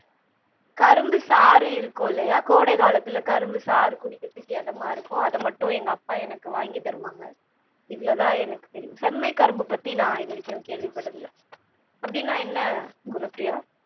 கரும்பு சாறு இருக்குல்லயா கோடை காலத்தில கரும்பு சாறு குடிக்கிறத்துக்கு எதமா இருக்கும் அத மட்டும் எங் அப்பா எனக்கு வாங்கி தருவாங்க இவ்ளவு தான் எனக்கு தெரியும் செம்மை கரும்பு பத்தி நான் இதுவரைக்கும் கேள்விப்பட்டதில்ல அப்பிடின்னா என்ன குணப்ரியா?